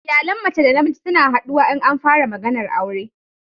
Iyalan mace da mijin suna haduwa in an fara maganar aure